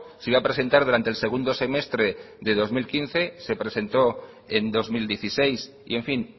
se iba a presentar durante el segundo semestre de dos mil quince se presentó en dos mil dieciséis y en fin